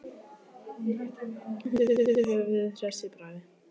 Hún hristi höfuðið, hress í bragði.